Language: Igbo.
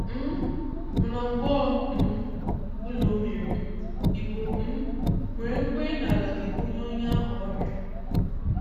um Mana mgbe ọ um bụla ọ mere, Igbo um nwere nkwenye na Ala ga-ebunye onye ahụ ọrịa.